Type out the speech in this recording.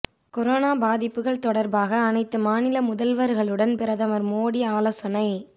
corona பாதிப்புக்கள் தொடர்பாக அனைத்து மாநில முதல்வர்களுடன் பிரதமர் மோடி ஆலோசனை